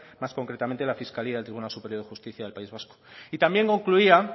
más concretamente la fiscalía del tribunal superior de justicia del país vasco y también concluía